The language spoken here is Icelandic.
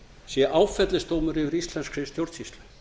sé áfellisdómur yfir íslenskri stjórnsýslu